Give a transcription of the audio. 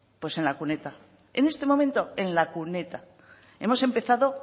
pues en la cuneta en este momento en la cuneta hemos empezado